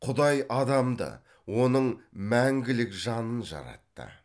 құдай адамды оның мәңгілік жанын жаратты